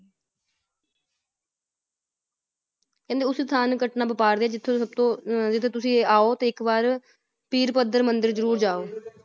ਕਹਿੰਦੇ ਉਸ ਇਨਸਾਨ ਨੂੰ ਜਿਥੋਂ ਸਬਤੋ ਜਿਥੇ ਤੁਸੀ ਆਓ ਤੇ ਇੱਕ ਵਾਰ ਪੀਰ ਪਦਰ ਮੰਦਿਰ ਜ਼ਰੂਰ ਆਓ ।